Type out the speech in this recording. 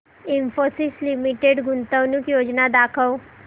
Infosys limited गुंतवणूक योजना दाखव